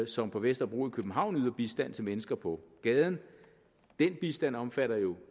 som på vesterbro i københavn yder bistand til mennesker på gaden den bistand omfatter jo